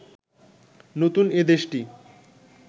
নতুন এ দেশটি